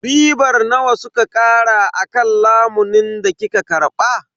Ribar nawa suka kara akan lamunin da kika karba?